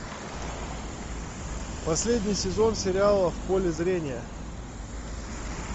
последний сезон сериала в поле зрения